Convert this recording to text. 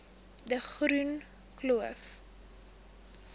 de groene kloof